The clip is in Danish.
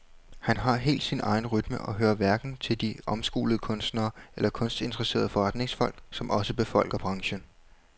Han har helt sin egen rytme og hører hverken til de omskolede kunstnere eller kunstinteresserede forretningsfolk, som også befolker branchen.